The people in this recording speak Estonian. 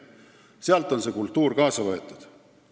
Sealt on see kultuur kaasa võetud.